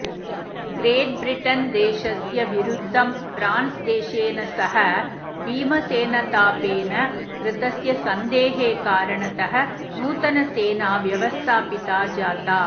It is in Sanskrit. ग्रेट्ब्रिटन्देशस्य विरुद्धं फ्रान्स्देशेन सह भीमसेनथापेन कृतस्य सन्धेः कारणतः नूतनसेना व्यवस्थापिता जाता